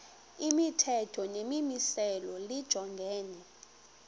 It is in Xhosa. imithetho nemimiselo lijongene